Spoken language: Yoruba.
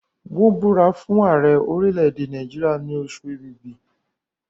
wón búra fún Ààrẹ orilẹ èdè Nàìjíríà ni Oṣù Ẹ̀bìbì.